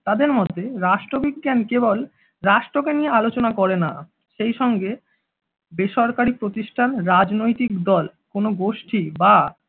তাদের মতে রাষ্ট্রবিজ্ঞান কেবল রাষ্ট্র কে নিয়ে আলোচনা করে না সেইসঙ্গে বেসরকারি প্রতিষ্ঠান রাজনৈতিক দল কোনো গোষ্ঠী বা